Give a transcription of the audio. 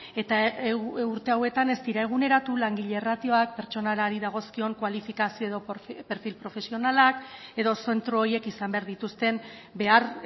eta urte hauetan ez dira eguneratu langile ratioak pertsonalari dagozkion kualifikazio edo perfil profesionalak edo zentro horiek izan behar dituzten behar